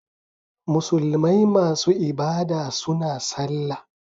Musulmai masu ibada suna sallah